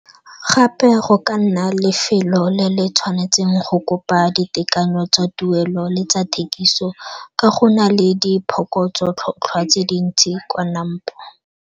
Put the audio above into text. Gape go ka nna lefelo le le tshwanetseng go kopa ditekanyo tsa tuelo le tsa thekiso ka go na le diphokotso tlhotlhwa tse dintsi kwa NAMPO.